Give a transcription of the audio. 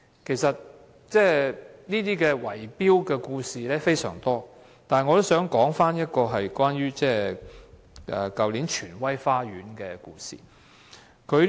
其實，這些圍標的故事非常多，我只想說出去年荃威花園的事。